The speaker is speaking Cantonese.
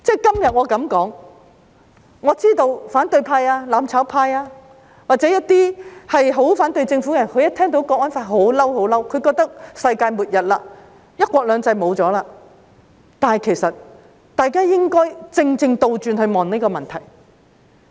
今天我這麼說，我知道反對派、"攬炒派"或一些很反對政府的人，一聽到《香港國安法》便感到憤怒，覺得是世界末日，"一國兩制"沒有了，但其實大家正正應該反過來檢視這個問題。